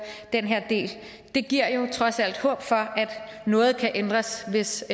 den her del det giver jo trods alt håb for at noget kan ændres hvis